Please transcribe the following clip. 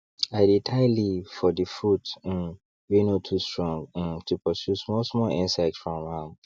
i dey tie leaf for the fruits um wey no too strong um to pursue small small insects from am